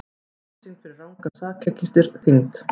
Refsing fyrir rangar sakargiftir þyngd